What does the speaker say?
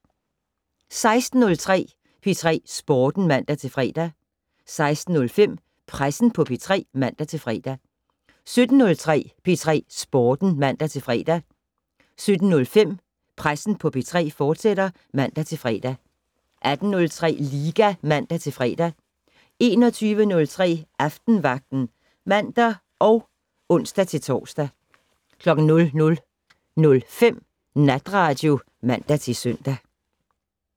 16:03: P3 Sporten (man-fre) 16:05: Pressen på P3 (man-fre) 17:03: P3 Sporten (man-fre) 17:05: Pressen på P3, fortsat (man-fre) 18:03: Liga (man-fre) 21:03: Aftenvagten (man og ons-tor) 00:05: Natradio (man-søn)